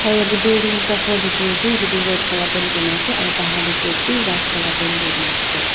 Aro yate building ekta ghor dekhi ase etu toh red colour paint kurina ase aro bahar tey gate tu white colour paint kurikena ase.